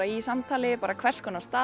í samtali um hvers konar staði